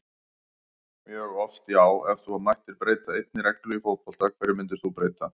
mjög oft já Ef þú mættir breyta einni reglu í fótbolta, hverju myndir þú breyta?